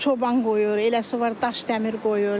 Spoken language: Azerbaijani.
çoban qoyur, eləsi var daş-dəmir qoyur.